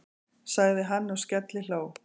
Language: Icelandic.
sagði hann og skellihló.